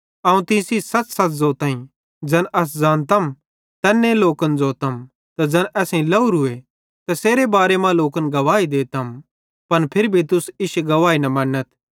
अवं तीं सेइं सच़सच़ ज़ोताईं ज़ैन अस ज़ानतम तैन्ने लोकन ज़ोतम त ज़ैन असेईं लावरूए तैसेरे बारे मां लोकन गवाही देतम पन फिर भी तुस लोक इश्शी गवाही न मन्नथ